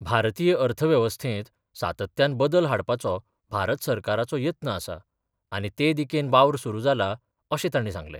भारतीय अर्थवेंवस्थेत सातत्यान बदल हाडपाचो भारत सरकाराचो येत्न आसा, आनी ते दिकेन वावर सुरू जाला अशें तांणी सांगलें.